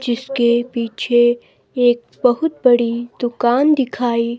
जिसके पीछे एक बहुत बड़ी दुकान दिखाई--